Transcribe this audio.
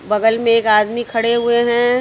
बगल में एक आदमी खड़े हुए हैं |